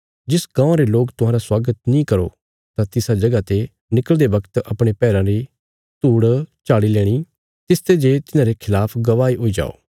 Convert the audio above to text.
जिस गाँवां रे लोक तुहांरा स्वागत नीं करो तां तिसा जगह ते निकल़दे बगत अपणे पैराँ री धूड़ झाड़ी लेणी तिसते जे तिन्हारे खलाफ गवाही हुई जाओ